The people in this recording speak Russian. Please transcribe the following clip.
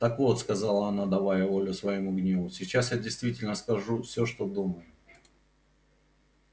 так вот сказала она давая волю своему гневу сейчас я действительно скажу все что думаю